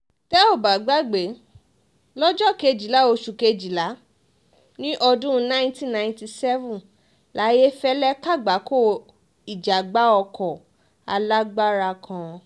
tẹ́ ò bá gbàgbé lọ́jọ́ kejìlá oṣù kejìlá ọdún nineteen ninety seven layéfẹ́lẹ́ kàgbákò ìjàgbá ọkọ alágbára kan